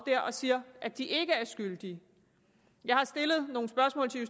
og siger at de ikke er skyldige jeg har stillet